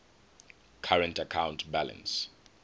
current account balance